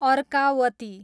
Arkavati